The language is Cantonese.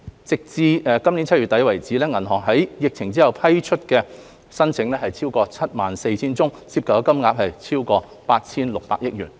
截至今年7月底，銀行在疫情後共批出逾 74,000 宗申請，涉及金額超過 8,600 億元。